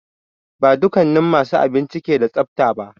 Ba dukannin masu abinci ke da tsafta ba.